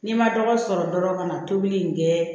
N'i ma dɔgɔ sɔrɔ dɔrɔn ka na tobili in kɛ